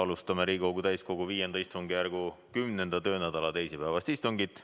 Alustame Riigikogu täiskogu V istungjärgu 10. töönädala teisipäevast istungit.